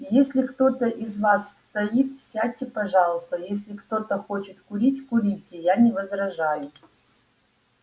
если кто-то из вас стоит сядьте пожалуйста если кто-то хочет курить курите я не возражаю